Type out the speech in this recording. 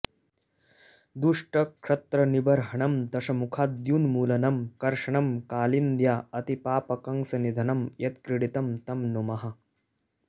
दुष्टक्षत्रनिबर्हणं दशमुखाद्युन्मूलनं कर्षणं कालिन्द्या अतिपापकंसनिधनं यत्क्रीडितं तं नुमः